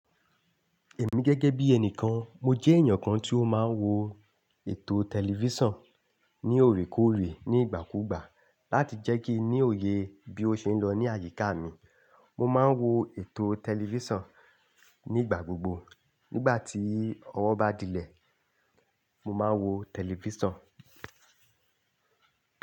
Èmi gẹ́gẹ́ bí ẹnìkan, mo jẹ́ èèyàn kan tí ó máa ń wo ètò tẹlifíṣàn ní òrékoórè ní ìgbàkúùgbà láti jẹ́ kí n ní òye bí ó ṣe ń lọ ní àyíká mi. Mo máa ń wo ètò tẹlifíṣàn nígbà gbogbo. Nígbà tí ọwọ́ bá dílẹ̀, mo máa ń wo tẹlifíṣàn.